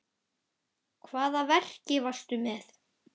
Hvaða verki varstu með?